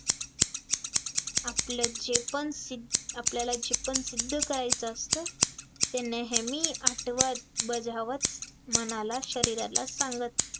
आपल्यात जे पण सिद्ध आपल्याला जेपण सिद्ध करायचं असतं, ते नेहमी आठवत बजावत मनाला शरीराला सांगत